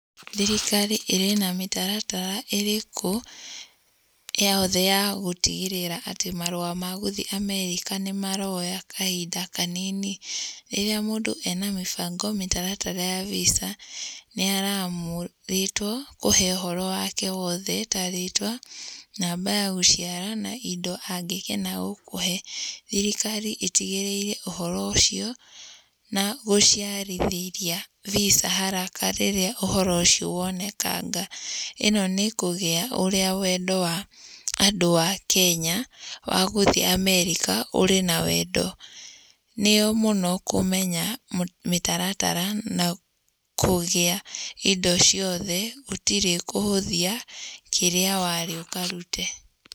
Thirikari ĩrĩ na mĩtaratara ĩrĩkũ yothe ya gũtigĩrĩra atĩ marũa ma gũthiĩ America nĩmaroya kahinda kanini, rĩrĩa mũndũ ena mĩbango mĩtaratara ya VISA nĩaramũrĩtwo kũhe ũhoro wake wothe ta rĩtwa, namba ya gũciarwo na indo angĩkena gũkũhe. Thirikari ĩtigĩrĩire ũhoro ũcio na gũciarithĩria VISA haraka rĩrĩa ũhoro ũcio wonekanga. Ĩno nĩ kũgĩa ũrĩa wendo wa andũ a Kenya wa gũthiĩ America ũrĩ na wendo. Nĩyo mũno kũmenya mĩtaratara na kũgĩa indo ciothe gũtirĩ kũhũthia kĩrĩa warĩ ũkarute.